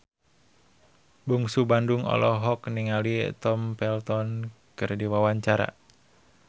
Bungsu Bandung olohok ningali Tom Felton keur diwawancara